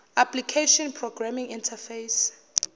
application programming interface